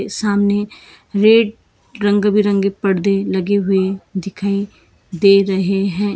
सामने रेड रंग बिरंगे परदे लगे हुए दिखाई दे रहे है।